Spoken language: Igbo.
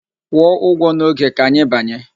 Kwụọ ụgwọ n'oge, ka anyị banye!